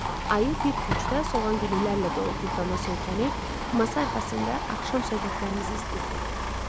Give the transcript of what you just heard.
Ayı bir küncdə soğan güllərlə dolu güldana söykənib, masa arxasında axşam söhbətlərimizi istəyirdi.